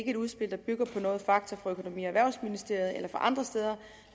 et udspil der bygger på noget fakta fra økonomi og erhvervsministeriet eller fra andre steder